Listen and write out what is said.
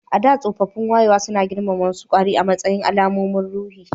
A da, tsoffin wayewa suna girmama wasu kwari a matsayin alamomin ruhi